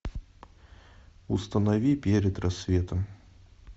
установи перед рассветом